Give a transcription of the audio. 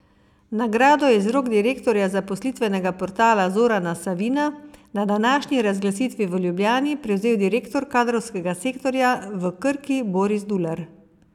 Nagrado je iz rok direktorja zaposlitvenega portala Zorana Savina na današnji razglasitvi v Ljubljani prevzel direktor kadrovskega sektorja v Krki Boris Dular.